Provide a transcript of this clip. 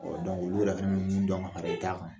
Ɔ dɔnku olu minnu dɔn, a bɛ kan